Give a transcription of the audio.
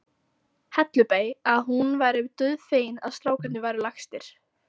Hellubæ að hún væri dauðfegin að strákarnir væru lagstir.